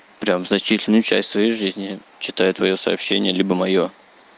прям значительную часть своей жизни читаю твоё сообщение либо моё